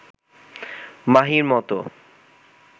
মাহির মতো